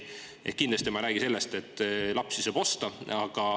Kindlasti ma ei räägi sellest, et lapsi saab osta.